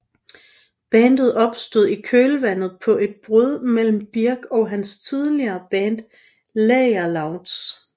Bandet opstod i kølvandet på et brud mellem Birk og hans tidligere band Lagerloudz